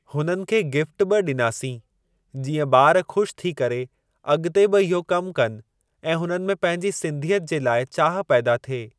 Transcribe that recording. हुननि खे गिफ़्ट बि डि॒नासीं जीअं ॿार खु़शि थी करे अॻिते बि इहो कमु कनि ऐं हुननि में पंहिंजी सिंधिअत जे लाइ चाह पैदा थिए।